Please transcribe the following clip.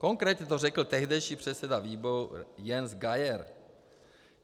Konkrétně to řekl tehdejší předseda výboru Jens Geier.